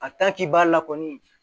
k'i b'a la kɔni